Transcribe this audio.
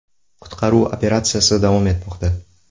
Qutqaruv operatsiyasi davom etmoqda.